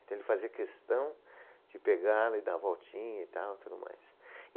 Então, ele fazia questão de pegá-la e dar a voltinha e tal, tudo mais.